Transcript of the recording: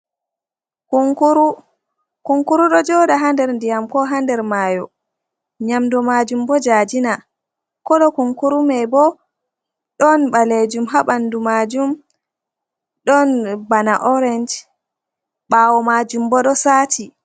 Kunkuru, kunkuru ɗo joɗa ha nder ndiyam ko ha nder mayo, nyamdu majum bo jajina, kolo kunkuru mai bo ɗon ɓalejum ha ɓanɗu majum, ɗon bana orange ɓawo majum bo ɗo sati.